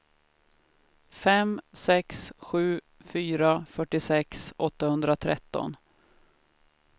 fem sex sju fyra fyrtiosex åttahundratretton